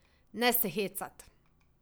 Ne se hecat!